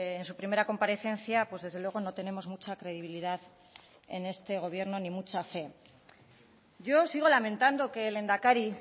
en su primera comparecencia pues desde luego no tenemos mucha credibilidad en este gobierno ni mucha fe yo sigo lamentando que el lehendakari